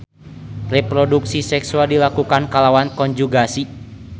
Reproduksi seksual dilakukan kalawan konjugasi.